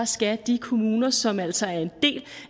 skal de kommuner som jo altså er en del